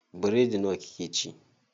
Biredi nawa kika ci?